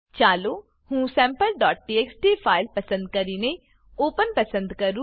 ચાલો હું sampleટીએક્સટી ફાઈલ પસંદ કરીને ઓપન ઓપન પસંદ કરું